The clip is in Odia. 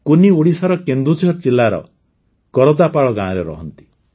କୁନ୍ନି ଓଡ଼ିଶାର କେନ୍ଦୁଝର ଜିଲାର କରଦାପାଳ ଗାଁରେ ରହନ୍ତି